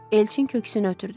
Elçin köksünü ötürdü.